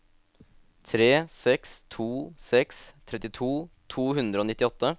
tre seks to seks trettito to hundre og nittiåtte